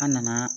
An nana